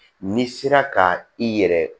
N'i sera ka i yɛrɛ